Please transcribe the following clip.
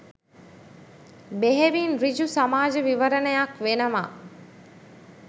බෙහෙවින් ඍජු සමාජ විවරණයක් වෙනවා.